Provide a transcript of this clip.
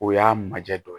O y'a majɛ dɔ